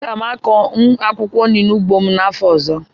Aga m akụ akwụkwọ nri n'ugbo m n'afọ ọzọ